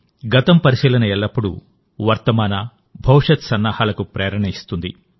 గతం పరిశీలన ఎల్లప్పుడూ వర్తమాన భవిష్యత్తు సన్నాహాలకు ప్రేరణనిస్తుంది